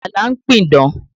Ajala ń pidán